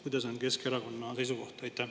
Kuidas on Keskerakonna seisukoht?